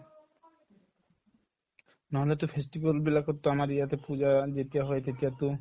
নহলেতো festival বিলাকতো আমাৰ ইয়াতে পূজা যেতিয়া হয় তেতিয়াতো